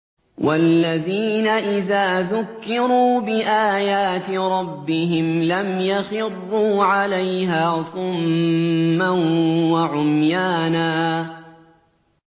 وَالَّذِينَ إِذَا ذُكِّرُوا بِآيَاتِ رَبِّهِمْ لَمْ يَخِرُّوا عَلَيْهَا صُمًّا وَعُمْيَانًا